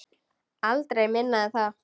Aldrei minna en það.